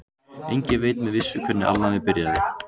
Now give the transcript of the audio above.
Enginn veit með vissu hvernig alnæmi byrjaði.